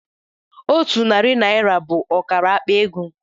Otu narị naira bụ ọkara akpa ego.